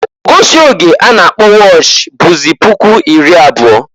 Ogosi oge a na-akpọ wọch bụzị puku iri abụọ.